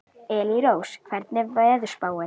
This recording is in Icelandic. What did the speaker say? Elírós, hvernig er veðurspáin?